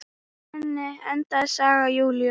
Þannig endaði saga Júlíu.